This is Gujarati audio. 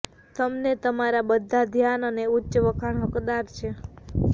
તેમને તમારા બધા ધ્યાન અને ઉચ્ચ વખાણ હકદાર છે